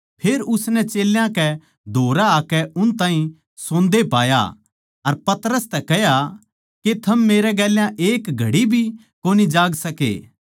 फेर उसनै चेल्यां कै धोरै आकै उन ताहीं सोन्दे पाया अर पतरस तै कह्या के थम मेरै गेल्या एक घड़ी भी कोनी जाग सके